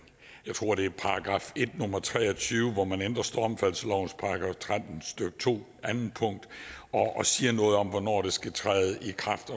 nummer tre og tyve hvor man ændrer stormfaldslovens § tretten stykke to anden punkt og siger noget om hvornår det skal træde i kraft